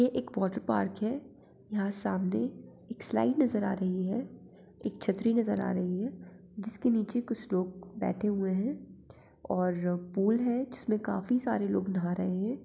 ये एक water park है यहाँ सामने एक स्लाईड नजर आ रही है एक छत्री नजर आ रही है जिस के नीचे कुछ लोग बैठे है और पूल है जिस में काफी सारे लोग नाह रहे हैं।